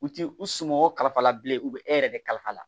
U ti u sunɔgɔ kalifa la bilen u bɛ e yɛrɛ de kalifa la